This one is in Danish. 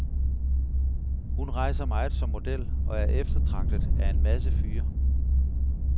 Hun rejser meget som model og er eftertragtet af en masse fyre.